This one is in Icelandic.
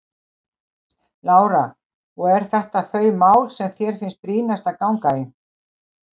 Lára: Og eru þetta þau mál sem þér finnst brýnast að ganga í?